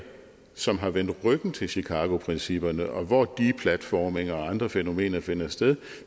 som har vendt ryggen til chicagoprincipperne og hvor deplatforming og andre fænomener finder sted